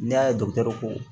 N'i y'a ye dɔkitɛriw ko